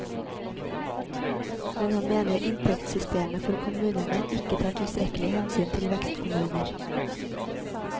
Men han mener inntektssystemet for kommunene ikke tar tilstrekkelig hensyn vil vekstkommuner.